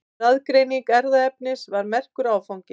Raðgreining erfðaefnisins var merkur áfangi.